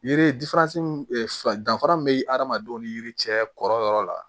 Yiri danfara min bɛ hadamadenw ni yiri cɛ kɔrɔyɔrɔ la